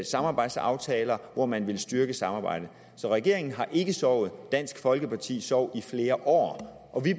samarbejdsaftaler hvor man vil styrke samarbejdet så regeringen har ikke sovet dansk folkeparti sov i flere år og vi i